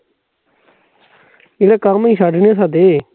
ਐਵੇਂ ਕੰਮ ਨੀ ਛੱਡਣੇ ਸਾਡੇ